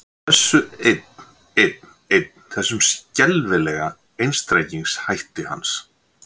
Út af þessu einn, einn, einn, þessum skelfilega einstrengingshætti hans.